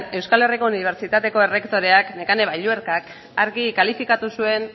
euskal herriko unibertsitateko errektoreak nekane balluerkak argi kalifikatu zuen